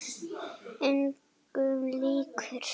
Engum líkur.